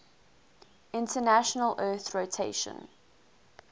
international earth rotation